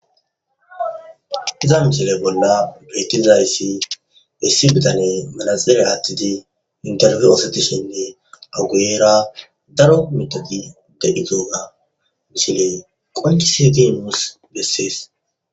Iza mishile bolla bitizrayssi issi bitane manazile aattidi interfi oosatishenne awuguyera daro mitagi de'igooga mishile qoncise timuus bessees.